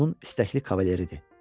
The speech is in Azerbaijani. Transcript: Onun istəkli kavalırıdır.